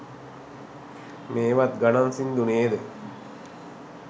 මේවත් ගනං සින්දු නේද